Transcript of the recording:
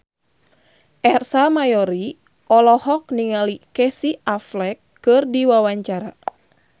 Ersa Mayori olohok ningali Casey Affleck keur diwawancara